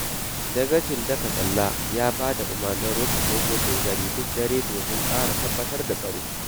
Dagacin Dakatsalla ya ba da umarnin rufe ƙofofin gari duk dare domin ƙara tabbatar da tsaro.